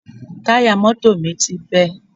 Táyà mọ́tò mi ti bẹ́